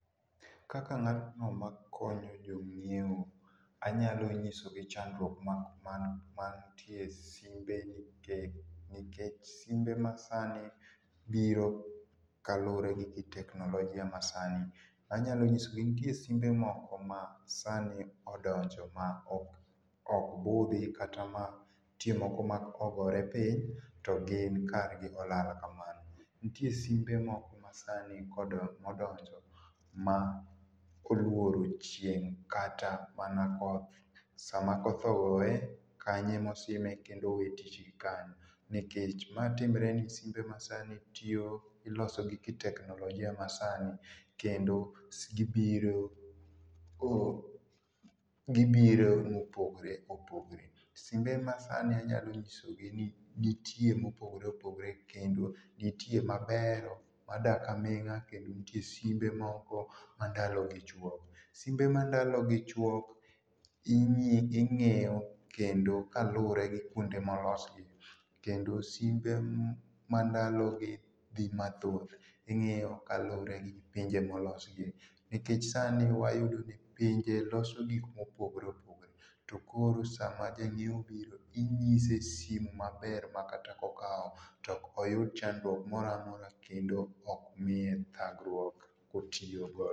Kaka ngatno makonyo jonyiewo ,anyalo nyisogi chandruok man, man mantie e simbe nikech simbe masani biro kaluore kod ki teknolojia masani, anyalo nyisogi ni nitie simbe moko masani odonjo ma ok budhi kata moko ma nitie moko ma kogore piny to gin kargi olal kamano. Nitie simbe moko ma sani kodo, odonjo ma oluoro chieng’ kata mana koth, sama koth ogoye kanyo ema osime kendo owe tich gikanyo nikech ma timre ni simbe masani iloso gi teknolojia masani kendo gibiro oo ,gibiro ma opogore opogre. Simbe masani anyalo nyisogi ni nitie mopogre opogre , nitie mabeyo madak aminga kendo nitie moko ma ndalo gi chuok. Simbe ma ndalo gi chuok ingeyo kendo kaluore gi kuonde ma olosgi kendo simbe ma ndalo gi dhi mathoth ingeye gi pinje ma olosgi nikech sani wayudo ka pinje loso gik ma opogore opogore, tokoro sama janyiewo obiro inyise simu maber makata ka okawo to ok oyud chandruok moro mamora kendo ok miye thagruok ka oyiyo go